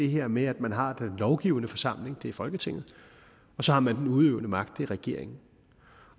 her med at man har den lovgivende forsamling det er folketinget og så har man den udøvende magt er regeringen